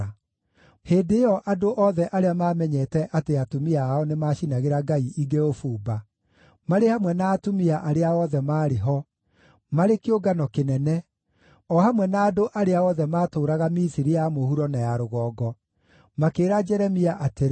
Hĩndĩ ĩyo andũ othe arĩa maamenyete atĩ atumia ao nĩmacinagĩra ngai ingĩ ũbumba, marĩ hamwe na atumia arĩa othe maarĩ ho, marĩ kĩũngano kĩnene, o hamwe na andũ arĩa othe maatũũraga Misiri ya mũhuro na ya Rũgongo, makĩĩra Jeremia atĩrĩ,